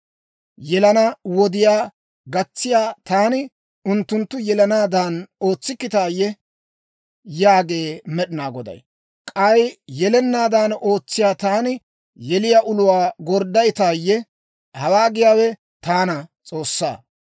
Yelana wodiyaa gatsiyaa taani unttunttu yelanaadan ootsikkitaayye? Yaagee Med'inaa Goday. K'ay yelanaadan ootsiyaa taani yeliyaa uluwaa gorddayttaayye? Hawaa giyaawe taana, S'oossaa.